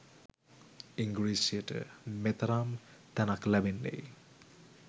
ඉංග්‍රීසියට මෙතරම් තැනක් ලැබෙන්නේ